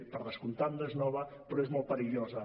per descomptat no és nova però és molt perillosa